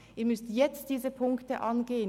Sie müssen jetzt diese Punkte angehen.